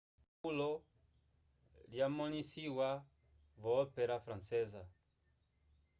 esapulo lyamõlisiwa vyo-ópera francesa